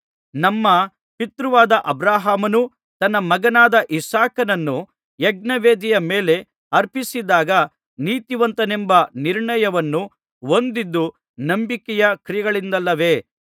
ನಮ್ಮ ಪಿತೃವಾದ ಅಬ್ರಹಾಮನು ತನ್ನ ಮಗನಾದ ಇಸಾಕನನ್ನು ಯಜ್ಞವೇದಿಯ ಮೇಲೆ ಅರ್ಪಿಸಿದಾಗ ನೀತಿವಂತನೆಂಬ ನಿರ್ಣಯವನ್ನು ಹೊಂದಿದ್ದು ನಂಬಿಕೆಯ ಕ್ರಿಯೆಗಳಿಂದಲ್ಲವೇ